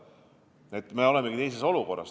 Praegu me olemegi teises olukorras.